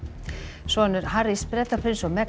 sonur Harrys Bretaprins og